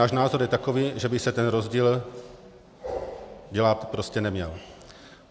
Náš názor je takový, že by se ten rozdíl dělat prostě neměl.